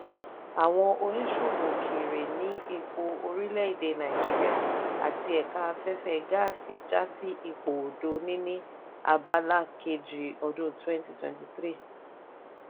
àwọn oníṣòwò òkèèrè ní epo orílẹ̀-èdè nàìjíríà àti ẹ̀ka afẹ́fẹ́ gáàsì já sí ipò òdo niní abala kejì ọdún twenty twenty three.